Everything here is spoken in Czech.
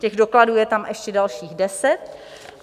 Těch dokladů je tam ještě dalších deset.